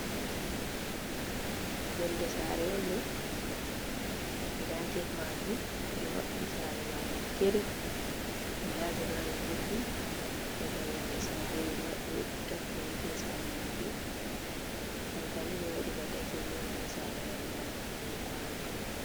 Yonde sare on ɗo nda get majum edo maɓɓi sare majum kirib, ndabe dari rufi daga yonde sare ɓetappi rufi e sare majum, ankani ɓe waɗi ba dakin nina ha sare mai bakwano.